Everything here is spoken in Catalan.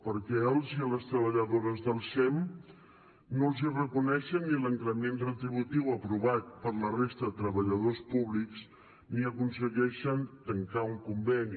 perquè als i les treballadores del sem no els reconeixen ni l’increment retributiu aprovat per a la resta de treballadors públics ni aconsegueixen tancar un conveni